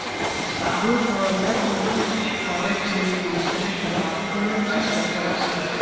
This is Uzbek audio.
Bu faollar inson huquqlari ta’minlanishini talab qilgani uchun jazolandi.